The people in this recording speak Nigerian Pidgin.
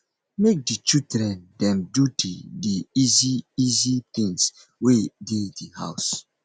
make di children dem do di di easy easy things wey dey di house